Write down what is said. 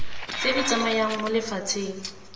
tse di tsamayang mo lefatsheng